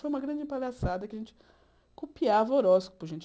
Foi uma grande palhaçada que a gente copiava o horóscopo, gente.